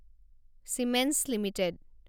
Siemens limited